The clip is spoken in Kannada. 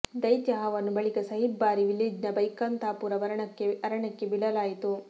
ದೈತ್ಯ ಹಾವನ್ನು ಬಳಿಕ ಸಹಿಬ್ ಬಾರಿ ವಿಲೇಜ್ನ ಬೈಕಂತಾಪುರ್ ಅರಣ್ಯಕ್ಕೆ ಬಿಡಲಾಯಿತು